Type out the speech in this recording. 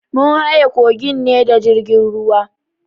Mun haye kogin ne da jirgin ruwa.